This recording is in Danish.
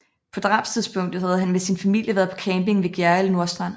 På drabstidspunktet havde han med sin familie været på camping ved Gjerrild Nordstrand